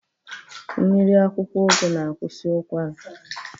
Mmiri akwụkwọ ụgụ na-akwụsị ụkwara.